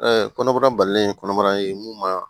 kɔnɔbara balilen kɔnɔbara ye mun ma